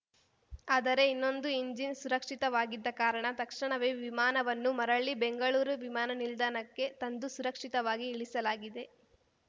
ಆದರೆ ಇನ್ನೊಂದು ಎಂಜಿನ್‌ ಸುರಕ್ಷಿತವಾಗಿದ್ದ ಕಾರಣ ತಕ್ಷಣವೇ ವಿಮಾನವನ್ನು ಮರಳಿ ಬೆಂಗಳೂರು ವಿಮಾನ ನಿಲ್ದಾಣಕ್ಕೆ ತಂದು ಸುರಕ್ಷಿತವಾಗಿ ಇಳಿಸಲಾಗಿದೆ